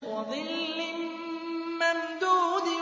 وَظِلٍّ مَّمْدُودٍ